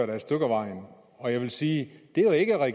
da et stykke ad vejen og jeg vil sige